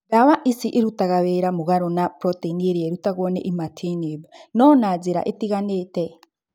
Ndawa ici irutaga wĩra mũgarũ na proteini ĩrĩa ĩrutagwo nĩ imatinib, no na njĩra itiganĩte.